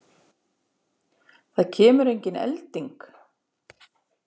Það kemur engin elding.